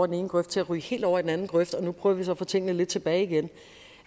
den ene grøft til at ryge helt over i den anden grøft og nu prøver vi så at få tingene lidt tilbage igen